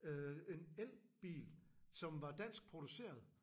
Øh en elbil som var dansk produceret